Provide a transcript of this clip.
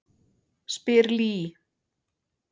spyr Lee.